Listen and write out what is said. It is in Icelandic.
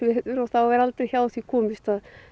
er aldrei hjá því komist að